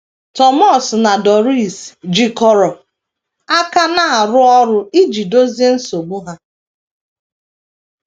Thomas na Doris jikọrọ aka na - arụ ọrụ iji dozie nsogbu ha.